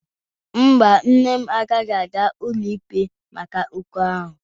Mba, nne m anaghị aga ụlọikpe maka okwu ahụ.